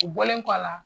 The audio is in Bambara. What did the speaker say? U bɔlen kɔ a la